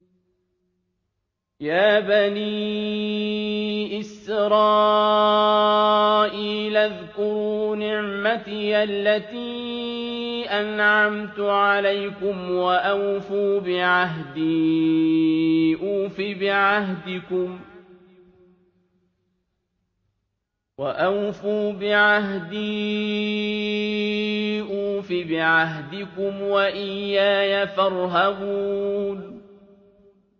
يَا بَنِي إِسْرَائِيلَ اذْكُرُوا نِعْمَتِيَ الَّتِي أَنْعَمْتُ عَلَيْكُمْ وَأَوْفُوا بِعَهْدِي أُوفِ بِعَهْدِكُمْ وَإِيَّايَ فَارْهَبُونِ